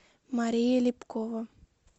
мария лепкова